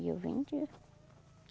E eu vendia.